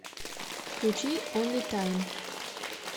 включи онли тайм